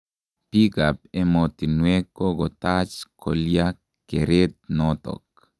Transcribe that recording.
Bikab emotinwek kokotaach kolya keret notok.